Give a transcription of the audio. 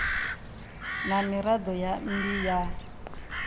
na miraḓo ya mmbi ya